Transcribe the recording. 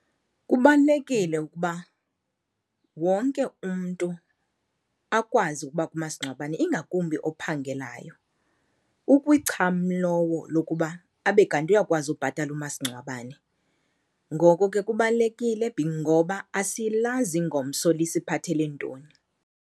Kubalulekile ukuba wonke umntu akwazi ukuba kumasingcwabeni ingakumbi ophangelayo, ukwicham lowo lokuba abe kanti uyakwazi ubhatala umasingcwabane. Ngoko ke kubalulekile ngoba asilazi ingomso lisiphathele ntoni.